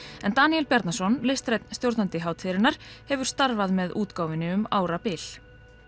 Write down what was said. en Daníel Bjarnason listrænn stjórnandi hátíðarinnar hefur starfað með útgáfunni um árabil